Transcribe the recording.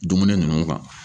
Dumuni ninnu kan